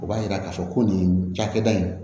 O b'a jira k'a fɔ ko nin cakɛda in